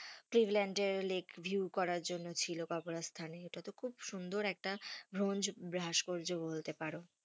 এর lake view করার জন্য ছিল, স্থানে ইটা তো খুব সুন্দর একটা বলতে পারো,